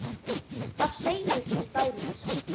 Þar segir til dæmis